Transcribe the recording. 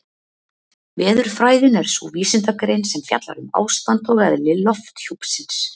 Veðurfræðin er sú vísindagrein sem fjallar um ástand og eðli lofthjúpsins.